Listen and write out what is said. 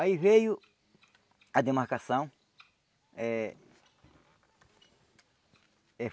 Aí veio a demarcação eh eh.